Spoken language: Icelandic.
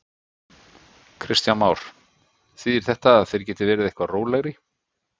Kristján Már: Þýðir þetta að þeir geti verið eitthvað rólegri?